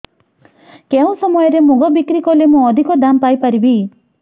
କେଉଁ ସମୟରେ ମୁଗ ବିକ୍ରି କଲେ ମୁଁ ଅଧିକ ଦାମ୍ ପାଇ ପାରିବି